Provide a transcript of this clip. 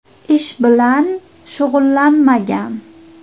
Ish bilan shug‘ullanmagan.